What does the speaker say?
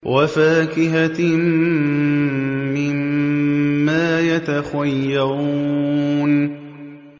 وَفَاكِهَةٍ مِّمَّا يَتَخَيَّرُونَ